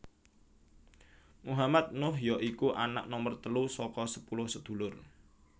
Muhammad Nuh ya iku anak nomer telu saka sepuluh sedulur